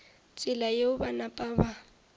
tsela yeo ba napa ba